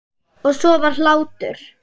Og svo var hlátur.